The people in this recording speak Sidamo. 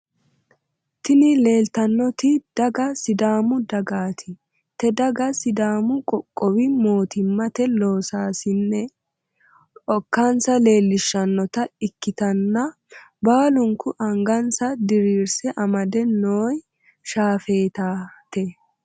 Tini leeltannoti daga sidaamu dagaati te dagano sidaamu qoqqowi mootimmate loosaasine okkansa leellishshannota ikkitanna baalunku angansa diriirse amade nooi shaafeetate.